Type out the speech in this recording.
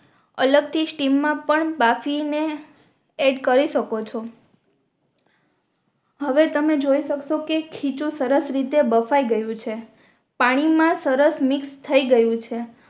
અલગ થી સ્ટીમ મા પણ બાફી ને એડ કરી શકો છો હવે તમે જોઈ શકશો કે ખીચું સરસ રીતે બફાઈ ગયુ છે પાણી મા સરસ મિક્સ થઈ ગયુ છે